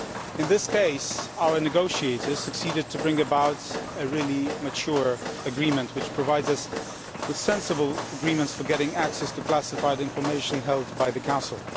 In this case our negotiators succeeded in bringing about a really mature agreement, which provides us with sensible agreements for getting access to classified information held by the Council.